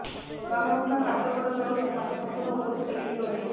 ବାମପାଖ ହାତ ଗୋଡ଼ ଜଳୁଛି ହାତ ସଂପୂର୍ଣ୍ଣ ଉପରକୁ ଟେକି ହେଉନାହିଁ